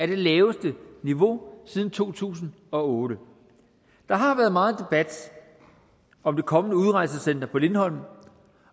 det laveste niveau siden to tusind og otte der har været meget debat om det kommende udrejsecenter på lindholm